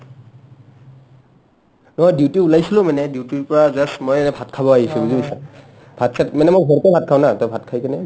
অ duty ওলাইছিলো মানে duty ৰ পৰা just মই এ ভাত খাব আহিছো বুজি পাইছা ভাত-চাত মানে মই ঘৰতে ভাত খাওঁ না to ভাত খাই কিনে যাম